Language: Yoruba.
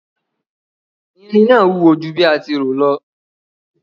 Irin náà wúwo ju bí a ti rò lọ.